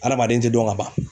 Adamaden te dɔn ka ban